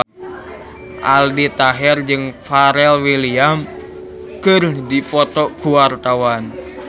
Aldi Taher jeung Pharrell Williams keur dipoto ku wartawan